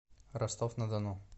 ростов на дону